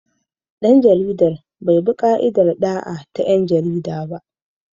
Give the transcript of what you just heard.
Dan jaridar bai bi ka'idar da'a ta 'yan jarida ba.